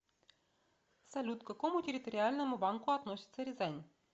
салют к какому территориальному банку относится рязань